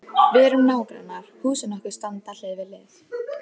Við erum nágrannar, húsin okkar standa hlið við hlið.